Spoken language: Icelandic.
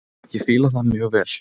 Ég fíla það mjög vel.